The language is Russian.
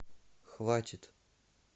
хватит